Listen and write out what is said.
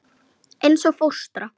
Eins og fóstra.